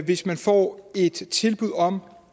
hvis man får et tilbud om